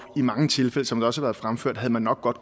i mange tilfælde som det også har været fremført havde man nok godt